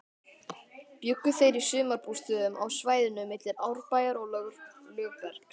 Bjuggu þeir í sumarbústöðum á svæðinu milli Árbæjar og Lögbergs.